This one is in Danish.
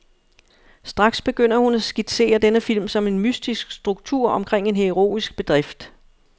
Straks begynder hun at skitsere denne film som en mytisk struktur omkring en heroisk bedrift.